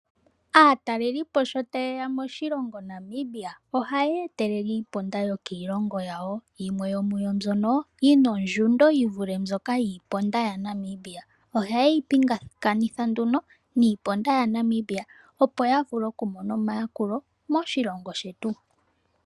Ngele aatelelipo tayeya moshilongo Namibia ohaya telele iimaliwa yokoshilongo shawo, mbono yimwe yomuwo yina ongushu yivule yiimaliwa yaNamibia ohaya yeyi pingakanitha nduno niimaliwa yaNamibia opo yavule okumona omayakulo moshilongo shetu.